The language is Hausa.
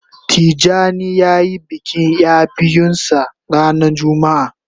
Tijani ya yi bikin ya biyun sa ranan jumma'a